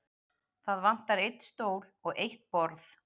Það vantar einn stól og eitt borð.